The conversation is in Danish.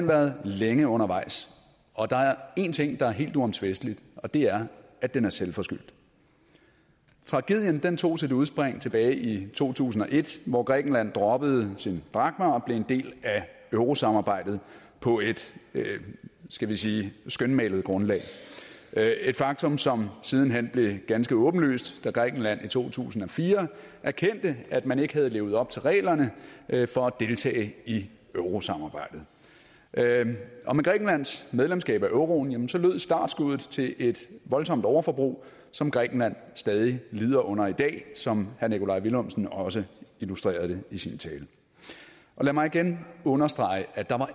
været længe undervejs og der er én ting der er helt uomtvistelig og det er at den er selvforskyldt tragedien tog sit udspring tilbage i to tusind og et hvor grækenland droppede sine drakmer og blev en del af eurosamarbejdet på et skal vi sige skønmalet grundlag et faktum som siden hen blev ganske åbenlyst da grækenland i to tusind og fire erkendte at man ikke havde levet op til reglerne for at deltage i eurosamarbejdet og med grækenlands medlemskab af euroen lød startskuddet til et voldsomt overforbrug som grækenland stadig lider under i dag som herre nikolaj villumsen også illustrerede det i sin tale lad mig igen understrege at der